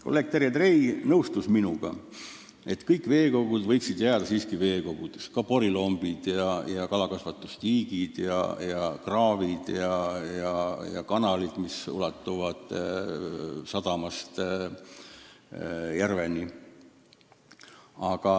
Kolleeg Terje Trei nõustus minuga, et kõik veekogud võiksid jääda siiski veekogudeks, ka porilombid ja kalakasvatustiigid, samuti kraavid ja kanalid, mis ulatuvad sadamast mõne järveni.